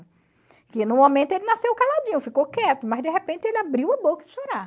Porque no momento ele nasceu caladinho, ficou quieto, mas de repente ele abriu a boca de chorar.